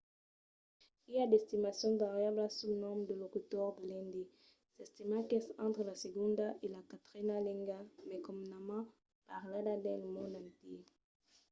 i a d'estimacions variablas sul nombre de locutors de l'indi. s'estima qu'es entre la segonda e la quatrena lenga mai comunament parlada dins lo mond entièr